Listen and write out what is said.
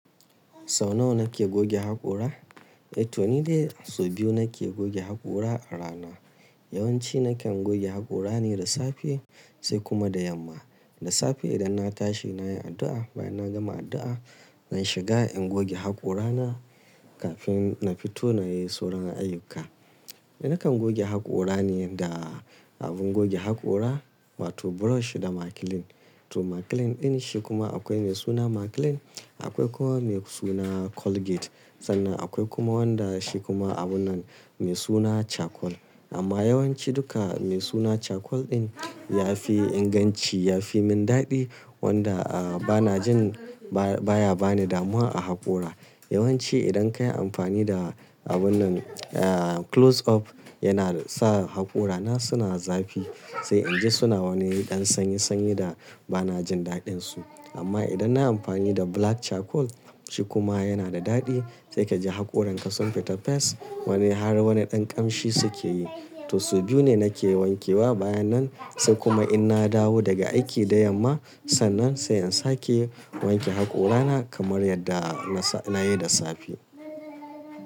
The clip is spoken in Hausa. Sau nawa nake goge haƙora? Eh to ni dai sau biyu nake goge haƙora a rana. Yawanci nakan goge haƙora ne da safe sai kuma da yamma. Da safe idan na tashi nayi addu'a, bayan na gama addu'a zan shiga in goge haƙora na kafin na fito nayi sauran ayyuka. Eh nakan goge haƙora ne da abin goge haƙora wato brush da maclean. To maclean din shi kuma akwai mai suna maclean, akwai kuma mai suna colgate sannan akwai kuma wanda shi kuma abun nan mai suna charcoal. Amma yawanci duka mai suna charcoal din yafi inganci, yafi min daɗi wanda a bana jin ba baya bani damuwa a haƙora. Yawanci idan kayi amfani da abun nan eh close up yana sa haƙora na suna zafi sai inji suna wani ɗan sanyi sanyi da bana jin daɗin su. Amma idan nayi amfani da black charcoal shi kuma yana da daɗi sai kaji haƙoran ka sun fita fes wani har wani ɗan ƙamshi suke yi. To sau biyu ne nake wanke wa bayan nan sai kuma in na dawo daga aiki da yamma sannan sai in sake wanke haƙora na kamar yadda na na yi da safe.